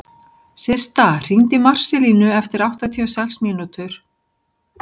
Systa, hringdu í Marselínu eftir áttatíu og sex mínútur.